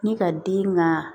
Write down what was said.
Ni ka den ka